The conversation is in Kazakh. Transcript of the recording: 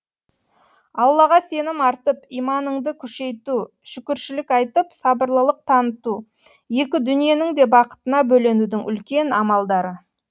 аллаға сенім артып иманыңды күшейту шүкіршілік айтып сабырлылық таныту екі дүниенің де бақытына бөленудің үлкен амалдары